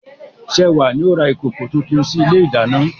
Sewa ni ó ra ìkòkò tuntun sí ilé ìdáná.